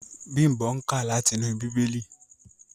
Bimbo nká láti inú Bibeli.